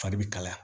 Fari bɛ kalaya